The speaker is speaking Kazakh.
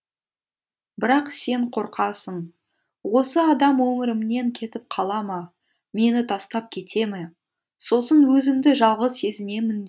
бірақ сен қорқасың осы адам өмірімнен кетіп қала ма мені тастап кете ме сосын өзімді жалғыз сезінемін